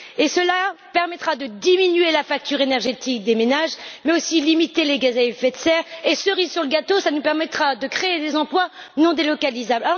Cela permettra de diminuer la facture énergétique des ménages, mais aussi de limiter les gaz à effet de serre et, cerise sur le gâteau, cela nous permettra de créer des emplois non délocalisables.